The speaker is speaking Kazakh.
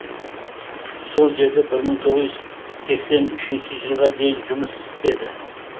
сол жерде бір мың тоғыз жүз сексен үшінші жылға дейін жұмыс істеді